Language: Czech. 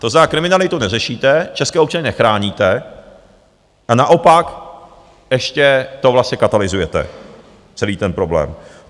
To znamená, kriminalitu neřešíte, české občany, nechráníte a naopak ještě to vlastně katalyzujete, celý ten problém.